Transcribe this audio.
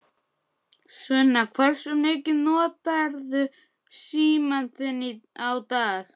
Sunna: Hversu mikið notarðu símann þinn á dag?